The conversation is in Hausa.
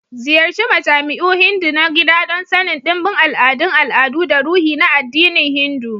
Ziyarci majami'u Hindu na gida don sanin ɗimbin al'adun al'adu da ruhi na addinin Hindu.